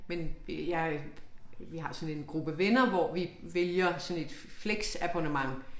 Men vi jeg vi har sådan en gruppe venner hvor vi vælger sådan et fleksabonnement